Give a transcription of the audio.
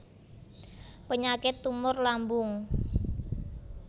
Penyakit tumor lambung